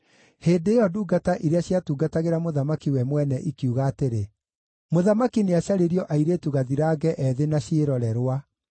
Hĩndĩ ĩyo ndungata iria ciatungatagĩra mũthamaki we mwene ikiuga atĩrĩ, “Mũthamaki nĩacarĩrio airĩtu gathirange ethĩ na ciĩrorerwa.